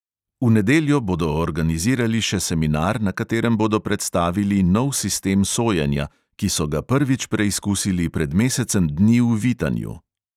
V nedeljo bodo organizirali še seminar, na katerem bodo predstavili nov sistem sojenja, ki so ga prvič preizkusili pred mesecem dni v vitanju.